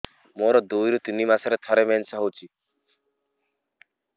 ମୋର ଦୁଇରୁ ତିନି ମାସରେ ଥରେ ମେନ୍ସ ହଉଚି